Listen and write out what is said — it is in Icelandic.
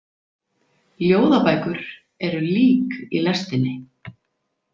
Ljóðabækur eru lík í lestinni.